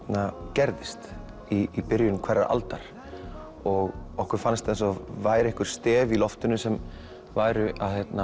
gerðist í byrjun hverrar aldar og okkur fannst eins og væru einhver stef í loftinu sem væru